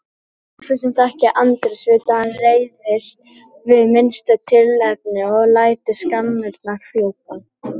Allir sem þekkja Andrés vita að hann reiðist við minnsta tilefni og lætur skammirnar fjúka.